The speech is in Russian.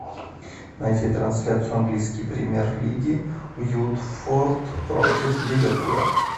найти трансляцию английской премьер лиги уотфорд против ливерпуля